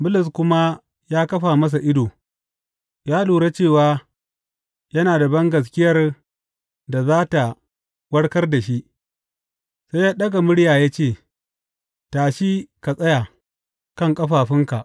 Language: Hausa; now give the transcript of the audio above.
Bulus kuma ya kafa masa ido, ya lura cewa yana da bangaskiyar da za tă warkar da shi sai ya ɗaga murya ya ce, Tashi ka tsaya kan ƙafafunka!